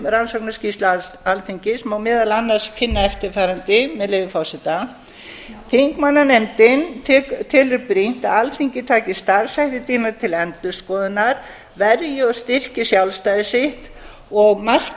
rannsóknarskýrslu alþingis má meðal annars finna eftirfarandi með leyfi forseta þingmannanefndin telur brýnt að alþingi taki starfshætti sína til endurskoðunar verji og styrki sjálfstæði sitt og marki